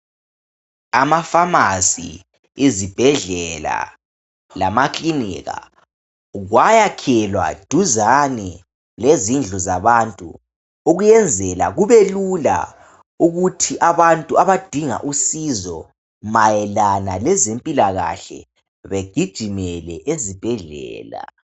Amafamasi, izibhedlela lamakilinika kwayakhelwa duzane lezindlu zabantu ukuyenzela kube lula ukuthi abantu abadinga usizo mayelana le zempilakahle mayelana lezempilakahle bagijimele lezibhedlela.